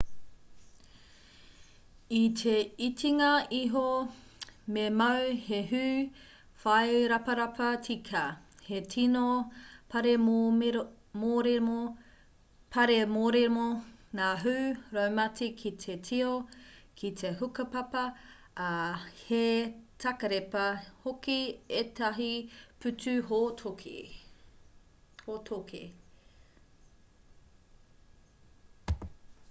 i te itinga iho me mau he hū whai raparapa tika he tino pāremoremo ngā hū raumati ki te tio ki te hukapapa ā he takarepa hoki ētahi pūtu hōtoke